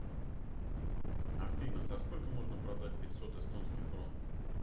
афина за сколько можно продать пятьсот эстонских крон